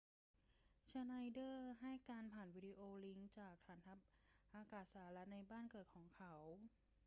ชไนเดอร์ให้การผ่านวิดีโอลิงก์จากฐานทัพอากาศสหรัฐในบ้านเกิดของเขา